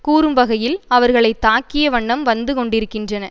கூறும் வகையில் அவர்களை தாக்கிய வண்ணம் வந்து கொண்டிருக்கின்றன